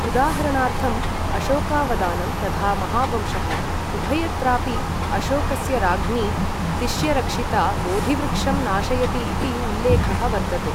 उदाहरणार्थम्, अशोकावदानं तथा महावंशः, उभयत्रापि अशोकस्य राज्ञी तिष्यरक्षिता बोधिवृक्षं नाशयति इति उल्लेखः वर्तते।